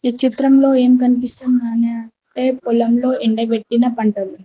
ఈ చిత్రంలో ఏం కనిపిస్తుంది అని ఆంటే పొలంలో ఎండబెట్టిన పంటలు.